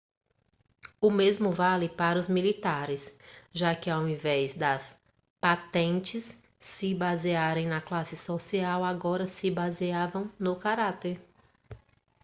o mesmo vale para os militares já que ao invés das patentes se basearem na classe social agora se baseavam no caráter